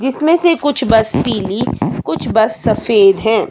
जिसमें से कुछ बस पीली कुछ बस सफेद हैं।